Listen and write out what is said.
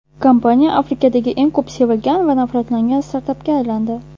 Kompaniya Amerikadagi eng ko‘p sevilgan va nafratlangan startapga aylandi.